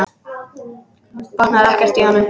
Botnar ekkert í honum.